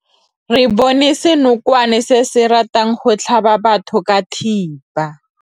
Re bone senokwane se se ratang go tlhaba batho ka thipa.